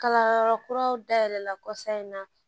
Kalanyɔrɔ kuraw dayɛlɛla kɔsan in na